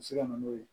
bɛ se ka na n'o ye